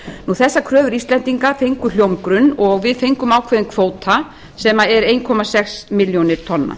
þessar kröfur íslendinga fengu hljómgrunn og við fengum ákveðinn kvóta sem eru eitt komma sex milljónir tonna